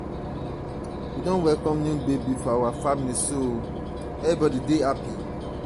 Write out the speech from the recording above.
we don welcome new baby for our family everybody dey happy.